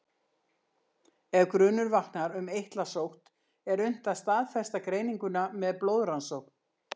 Ef grunur vaknar um eitlasótt er unnt að staðfesta greininguna með blóðrannsókn.